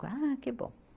Ah, que bom.